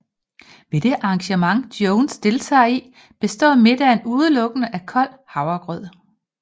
Ved det arrangement Jones deltager i består middagen udelukkende af kold havregrød